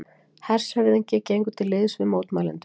Hershöfðingi gengur til liðs við mótmælendur